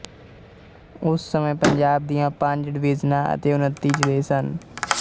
ਉਸ ਸਮੇ ਪੰਜਾਬ ਦੀਆਂ ਪੰਜ ਡਵੀਜ਼ਨਾਂ ਅਤੇ ਉੱਣਤੀ ਜ਼ਿਲ੍ਹੇ ਸਨ